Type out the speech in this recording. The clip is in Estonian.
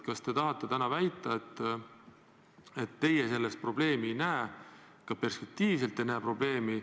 Kas te tahate väita, et teie selles probleemi ei näe, ka perspektiivis ei näe?